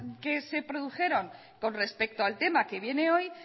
que se produjeron con respecto al tema que viene hoy